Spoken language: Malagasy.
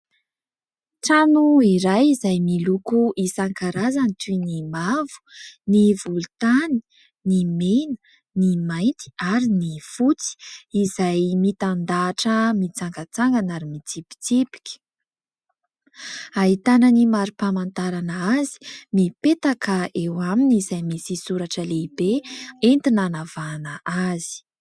Trano iray izay miloko isan-karazany toy ny mavo, ny volontany, ny mena, ny mainty ary ny fotsy izay mitandahatra, mitsangatsangana ary mitsipitsipika. Ahitana ny mari-pamantarana azy mipetaka eo aminy izay misy soratra lehibe entina hanavahana azy.